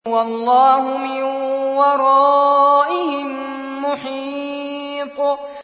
وَاللَّهُ مِن وَرَائِهِم مُّحِيطٌ